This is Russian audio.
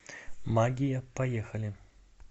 магия поехали